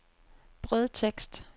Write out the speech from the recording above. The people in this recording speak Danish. brødtekst